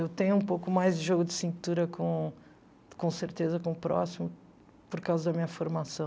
Eu tenho um pouco mais de jogo de cintura, com com certeza, com o próximo, por causa da minha formação.